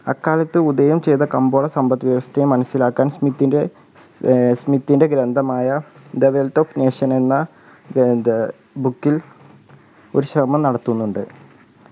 അക്കാലത്ത് ഉദയം ചെയ്‌ത കമ്പോള സമ്പത്ത് വ്യവസ്ഥയെ മനസിലാക്കാൻ സ്‌മിത്തിൻ്റെ ഏർ സ്‌മിത്തിൻ്റെ ഗ്രന്ഥമായ the wealth of nation എന്ന ഏർ book ൽ ഒരു ശ്രമം നടത്തുന്നുണ്ട്